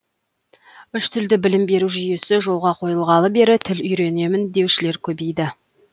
үш тілді білім беру жүйесі жолға қойылғалы бері тіл үйренемін деушілер көбейді